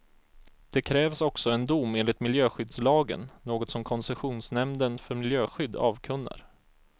Det krävs också en dom enligt miljöskyddslagen, något som koncessionsnämnden för miljöskydd avkunnar.